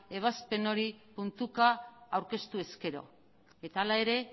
ebazpen hori puntuka aurkeztu ezkero eta hala ere